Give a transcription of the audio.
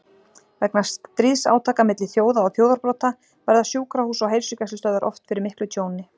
Vegna stríðsátaka milli þjóða og þjóðarbrota verða sjúkrahús og heilsugæslustöðvar oft fyrir miklu tjóni.